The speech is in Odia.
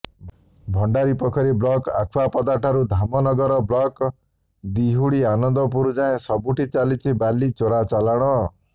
ଭଣ୍ଡାରୀପୋଖରୀ ବ୍ଲକ ଆଖୁଆପଦା ଠାରୁ ଧାମନଗର ବ୍ଲକ ଦିହୁଡି ଆନନ୍ଦପୁର ଯାଏଁ ସବୁଠି ଚାଲିଛି ବାଲି ଚୋରାଚାଲାଣ